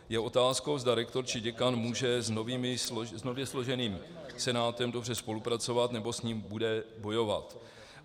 Je otázkou, zda rektor či děkan může s nově složeným senátem dobře spolupracovat, nebo s ním bude bojovat.